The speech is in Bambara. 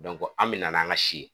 an bɛ na n'an ka si ye